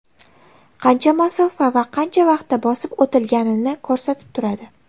Qancha masofa va qancha vaqtda bosib o‘tilganini ko‘rsatib turadi.